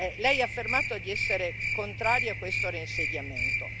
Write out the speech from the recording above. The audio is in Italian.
Lei ha affermato di essere contrario a questo reinsediamento.